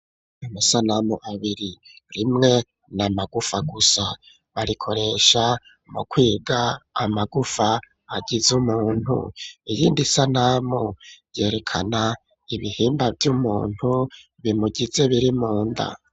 Amasanamu abiri rimwe na magufa gusa barikoresha mu kwiga amagufa agize umuntu. Iyindi sanamu yerekana ibihimba vy'umuntu bimugize biri munda.